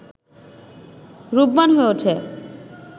রূপবান হয়ে ওঠে